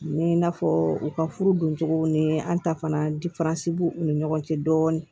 Ni i n'a fɔ u ka furu don cogow ni an ta fana b'u ni ɲɔgɔn cɛ dɔɔnin